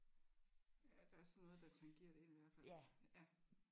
Ja der er sådan noget der tangerer det i hvert fald